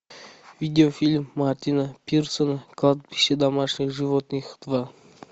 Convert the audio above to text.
видеофильм мартина пирсона кладбище домашних животных два